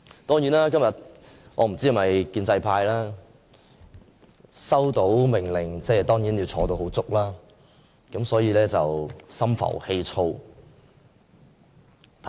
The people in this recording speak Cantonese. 當然，我不知道建制派今天是否收到命令要全程在席，所以心浮氣躁。